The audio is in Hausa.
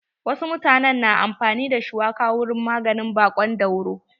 Wasu mutanen na amfani da shuwaka wurin maganin baƙon dauro.